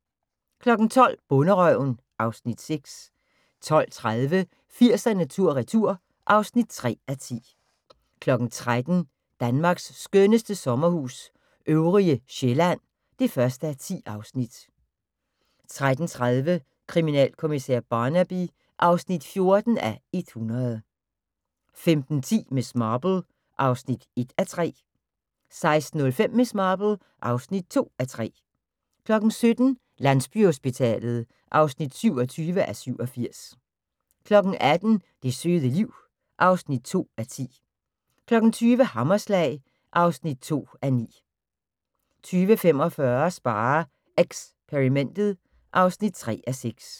12:00: Bonderøven (Afs. 6) 12:30: 80'erne tur retur (3:10) 13:00: Danmarks skønneste sommerhus – Øvrige Sjællland (1:10) 13:30: Kriminalkommissær Barnaby (14:100) 15:10: Miss Marple (1:3) 16:05: Miss Marple (2:3) 17:00: Landsbyhospitalet (27:87) 18:00: Det søde liv (2:10) 20:00: Hammerslag (2:9) 20:45: SpareXperimentet (3:6)